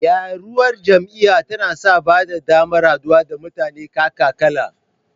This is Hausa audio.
Rayuwar jami'a tana sa ba da damar haɗuwa da mutane kaka-kala